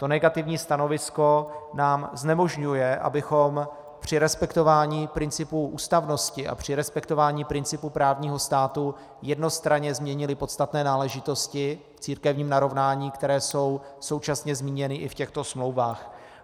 To negativní stanovisko nám znemožňuje, abychom při respektování principů ústavnosti a při respektování principů právního státu jednostranně změnili podstatné náležitosti v církevním narovnání, které jsou současně zmíněny i v těchto smlouvách.